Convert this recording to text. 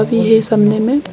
पिह है सामने में--